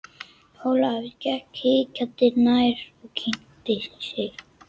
Ólafur gekk hikandi nær og kynnti sig.